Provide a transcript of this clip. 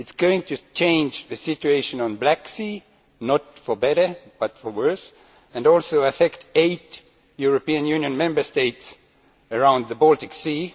It will change the situation in the Black Sea not for better, but for worse and also affect eight European Union Member States around the Baltic Sea.